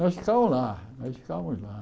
Nós ficamos lá, nós ficamos lá.